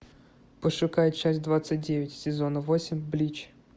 пошукай часть двадцать девять сезона восемь блич